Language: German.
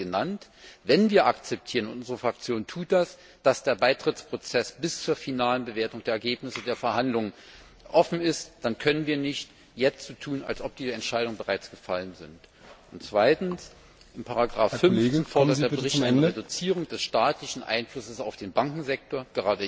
Zwei seien genannt Wenn wir akzeptieren und unsere Fraktion tut das dass der Beitrittsprozess bis zur finalen Bewertung der Ergebnisse der Verhandlungen offen ist, dann können wir jetzt nicht so tun, als ob die Entscheidung bereits gefallen ist. Zweitens in Ziffer 5 fordert der Bericht eine Reduzierung des staatlichen Einflusses auf den Bankensektor.